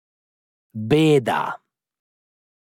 Beda.